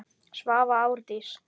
Svava Árdís.